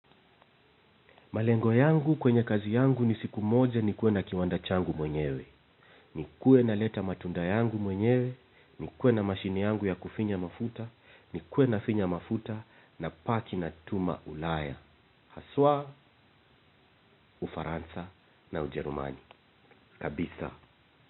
Malengo yangu kwenye kazi yangu ni siku moja nikuwe na kiwanda changu mwenyewe. Nikuwe naleta matunda yangu mwenyewe. Nikuwe na mashine yangu ya kufinya mafuta. Nikuwe nafinya mafuta napaki natuma Ulaya. Haswa, Ufaransa na Ujerumani. Kabisa.